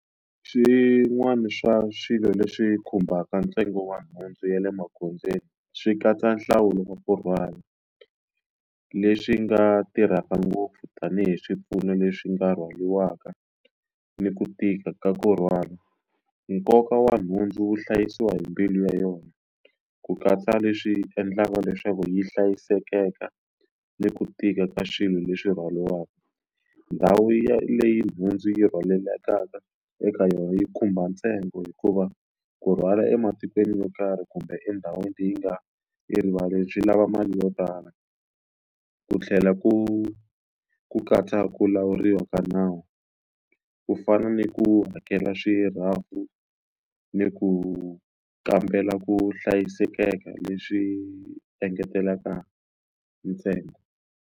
Swin'wana swa swilo leswi khumbaka ntsengo wa nhundzu ya le magondzweni swi katsa nhlawulo wa kurhwala leswi nga tirhaka ngopfu tanihi swipfuno leswi nga rhwariwaka ni ku tika ka kurhwala nkoka wa nhundzu wu hlayisiwa hi mbilu ya yona ku katsa leswi endlaka leswaku yi hlayiseka ni ku tika ka swilo leswi rhwariwaka ndhawu ya leyi nhundzu yi rhwalekaka eka yona yi khumba ntsengo hikuva ku rhwala ematikweni yo karhi kumbe endhawini leyi nga yi rivali byi lava mali yo tala ku tlhela ku ku katsa ku lawuriwa ka nawu ku fana ni ku hakela swirhabu ni ku kambela ku hlayiseka leswi engetelaka ntsengo.